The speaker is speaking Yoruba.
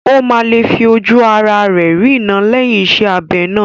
Ó máa lè fi ojú ará rẹ̀ rína lẹ́yìn iṣẹ́ abẹ náà